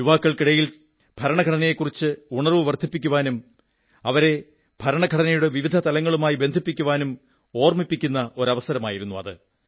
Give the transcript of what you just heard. യുവാക്കൾക്കിടയിൽ ഭരണഘടനയെക്കുറിച്ച് ഉണർവ്വു വർധിപ്പിക്കാനും അവരെ ഭരണഘടനയുടെ വിവിധ തലങ്ങളുമായി ബന്ധിപ്പിക്കാനും ഓർമ്മിപ്പിക്കുന്ന അവസരമായിരുന്നു അത്